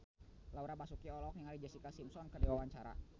Laura Basuki olohok ningali Jessica Simpson keur diwawancara